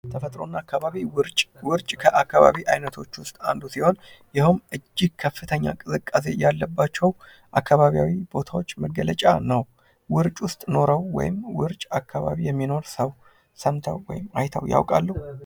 ተፈጥሮና አካባቢ ውርጭ ከአካባቢ ዓይነቶች ውስጥ አንዱ ሲሆን፤ ይኸውም እጅግ ከፍተኛ ቅዝቃዜ ያለባቸው አካባቢያዊ ቦታዎች መገለጫ ነው። ውርጭ ውስጥ ኖረው ወይም ውርጭ አካባቢ የሚኖር ሰው ሰምተው ወይም አይተው ያውቃሉ?